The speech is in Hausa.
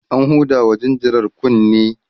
an hudawa jinjirar kunne